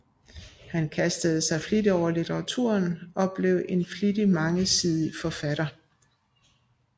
Han kastede sig over litteraturen og blev en flittig og mangesidig forfatter